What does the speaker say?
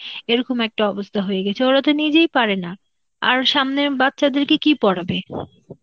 এরকম একটা অবস্থা হয়ে গেছে, ওরা তো নিজেই পারে না, আর সামনের বাচ্চাদেরকে কি পড়াবে